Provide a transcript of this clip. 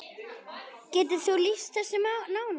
Getur þú lýst þessu nánar?